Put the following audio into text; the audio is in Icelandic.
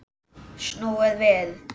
Snúið við!